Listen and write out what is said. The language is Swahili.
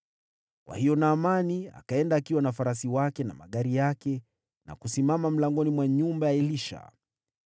Kwa hiyo Naamani akaenda, akiwa na farasi zake na magari yake, na kusimama mlangoni mwa nyumba ya Elisha.